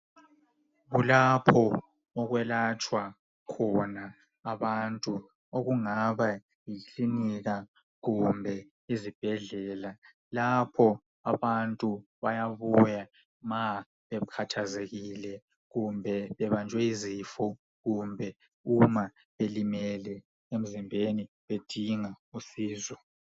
kulapho okwelatshwa khona abantu okungaba yikilinika kumbe izibhedlela lapho abantu bayabuya ma bekhathazekile kumbe bebanjwe yizifo kumbe uma belimele emzimbeni bedinga usizo.